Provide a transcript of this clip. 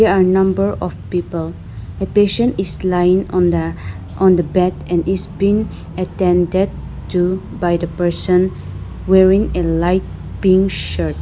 The are number of people a patient is lying on the on the bed and its pin attended to by the person wearing a light pink shirt.